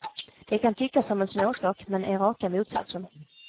Det kan tyckas som en småsak, men är raka motsatsen.